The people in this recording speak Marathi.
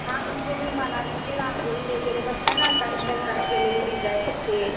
हा म्हणजे मी मनाली ची रांगोळी वगैरे बघताय ना ताईंच्या घरात केलेली डिसाइन ते.